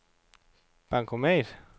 bankomat